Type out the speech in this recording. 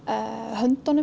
höndunum